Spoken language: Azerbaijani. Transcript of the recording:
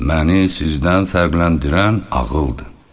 Məni sizdən fərqləndirən ağıldır.